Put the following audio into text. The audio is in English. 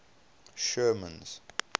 sherman's